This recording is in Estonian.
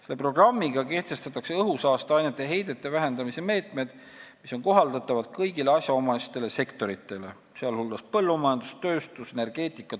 Selle programmiga kehtestatakse õhusaasteainete heidete vähendamise meetmed, mis on kohaldatavad kõigile asjaomastele sektoritele .